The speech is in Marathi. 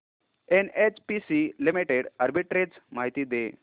एनएचपीसी लिमिटेड आर्बिट्रेज माहिती दे